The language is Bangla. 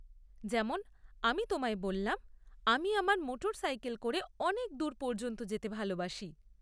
যেমন আমি তোমায় বললাম, আমি আমার মোটরসাইকেলে করে অনেক দূর পর্যন্ত যেতে ভালবাসি।